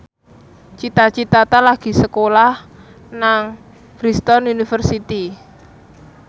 Cita Citata lagi sekolah nang Bristol university